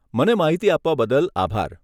મને માહિતી આપવા બદલ આભાર.